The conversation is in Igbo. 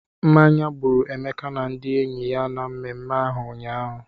Mmanya gbụrụ Emeka na ndị enyi ya na mmemme ahụ ụnyaahụ.